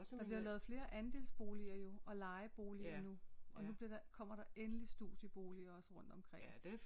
Der bliver lavet flere andelsboliger jo og lejeboliger nu og nu bliver der kommer der endelige studieboliger også rundt omkring